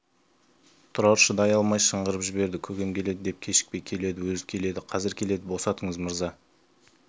тұрар шыдай алмай шыңғырып жіберді көкем келеді көп кешікпей келеді өзі келеді қазір келеді босатыңыз мырза